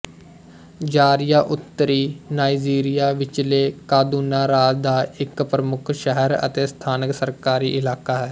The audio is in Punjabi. ਜ਼ਾਰੀਆ ਉੱਤਰੀ ਨਾਈਜੀਰੀਆ ਵਿਚਲੇ ਕਾਦੂਨਾ ਰਾਜ ਦਾ ਇੱਕ ਪ੍ਰਮੁੱਖ ਸ਼ਹਿਰ ਅਤੇ ਸਥਾਨਕ ਸਰਕਾਰੀ ਇਲਾਕਾ ਹੈ